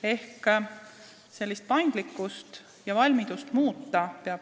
Ehk meil peab olema paindlikkust ja valmidust asju muuta.